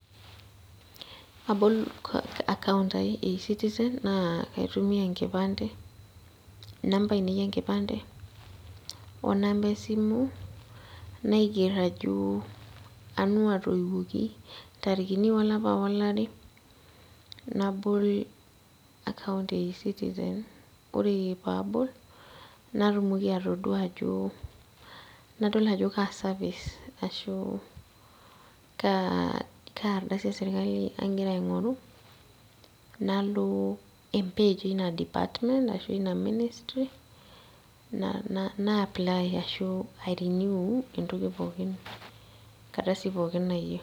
Abol account ai e e citizen naa kaitumia enkipande inamba ainei enkipande onamba esimu naigerr ajo anu atoiwuoki intarikini olapa olari nabol account e e citizen ore paabol natumoki atodua ajo nadol ajo kaa service ashu kaa, kaa ardasi esirkali aigira aing'oru nalo em page ina department ashua eina ministry naa nae apply arashu ae renew entoki pookin enkardasi pookin nayieu.